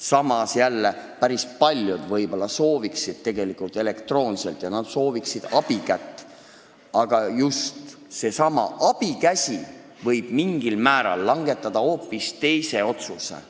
Samas jällegi, päris paljud võib-olla sooviksid elektroonselt hääletada ja nad vajaksid abikätt, aga just seesama abikäsi võib mingil määral langetada hoopis teise otsuse.